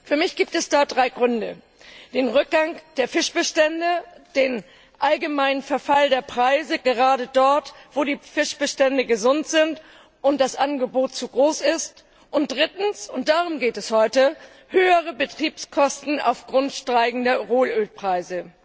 Für mich gibt es dafür drei Gründe Erstens den Rückgang der Fischbestände, zweitens den allgemeinen Verfall der Preise gerade dort, wo die Fischbestände gesund sind und das Angebot zu groß ist, drittens und darum geht es heute höhere Betriebskosten aufgrund steigender Rohölpreise.